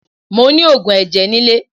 Mo ni oògùn ẹ̀jẹ̀ nilé